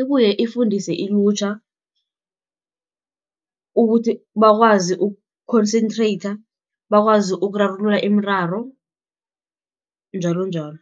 Ibuye ifundise ilutjha, ukuthi bakwazi ukukhonsentreyitha, bakwazi ukurarulula imiraro, njalonjalo.